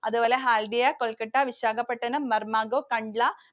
അതുപോലെ Haldia, Kolkata, Visakhapatanam, Marmagao, Kandla